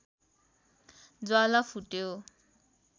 ज्वाला फुट्यो